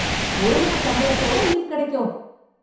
ஒரு நாள் சம்பளத்தோட லீவ் கிடைக்கும்.